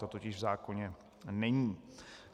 To totiž v zákoně není.